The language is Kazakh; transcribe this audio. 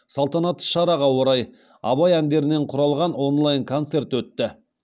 салтанатты шараға орай абай әндерінен құралған онлайн концерт өтті